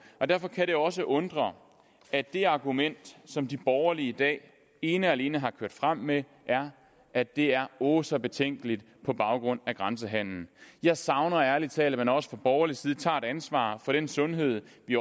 og derfor kan det også undre at det argument som de borgerlige i dag ene og alene har kørt frem med er at det er åh så betænkeligt på grund af grænsehandelen jeg savner ærlig talt at man også fra borgerlig side tager et ansvar for den sundhed vi